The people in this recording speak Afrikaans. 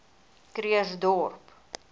krugersdorp